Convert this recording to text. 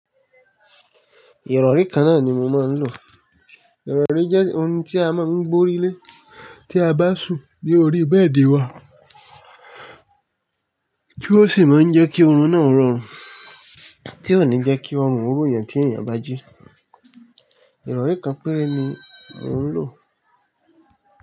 Ìrọ̀rí kan náà ni mo máa ń lò. Ìrọ̀rí jẹ́ ohun tí a máa ń gbórílé tí a bá sùn ní orí bẹ́ẹ̀dì wa. Kí ó sì máa ń jẹ́ kí oorun náà rọrùn, tí ò ní jẹ́ kí oorun o ro eyan tí ènìyàn bá jí. Ìrọ̀rí kan péré ni mò ń lò.